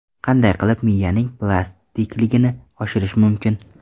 Qanday qilib miyaning plastikligini oshirish mumkin?.